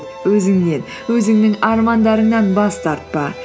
өзіңнен өзіңнің армандарыңнан бас тартпа